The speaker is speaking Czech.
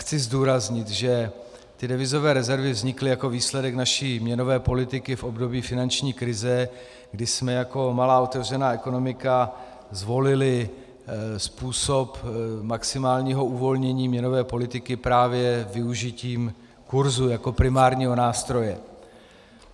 Chci zdůraznit, že ty devizové rezervy vznikly jako výsledek naší měnové politiky v období finanční krize, kdy jsme jako malá otevřená ekonomika zvolili způsob maximálního uvolnění měnové politiky právě využitím kurzu jako primárního nástroje.